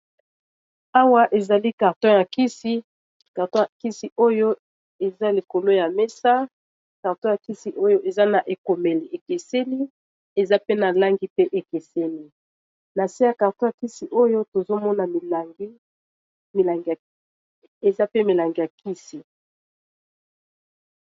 Awa, ezali karton ya kisi. Karton ya kisi oyo, eza likolo ya mesa. Karton ya kisi oyo, eza na ekomeli ekeseni. Eza pe na langi ekeseni. Na se ya karton ya kisi oyo, tozo mona eza pe milangi ya kisi.